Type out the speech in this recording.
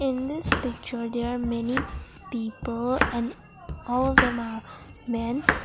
in this picture there are many people and all of them are men.